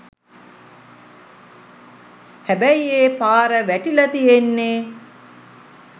හැබැයි ඒ පාර වැටිලා තියෙන්නේ